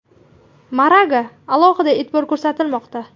Maraga alohida e’tibor ko‘rsatilmoqda.